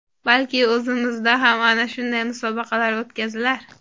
Balki, o‘zimizda ham ana shunday musobaqalar o‘tkazilar.